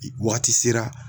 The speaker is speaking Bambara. wagati sera